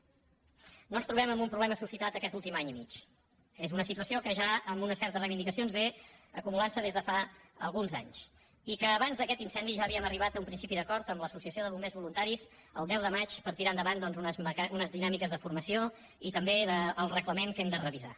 no ens trobem amb un problema suscitat aquest últim any i mig és una situació que ja amb una certa reivindicació va acumulant se des de fa alguns anys i que abans d’aquest incendi ja havíem arribat a un principi d’acord amb l’associació de bombers voluntaris el deu de maig per tirar endavant doncs unes dinàmiques de formació i també el reglament que hem de revisar